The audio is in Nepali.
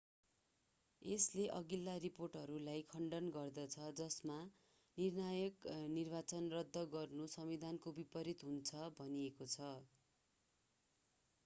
यसले अघिल्ला रिपोर्टहरूलाई खण्डन गर्दछ जसमा निर्णायक निर्वाचन रद्द गर्नु संविधानको विपरित हुन्छ भनिएको छ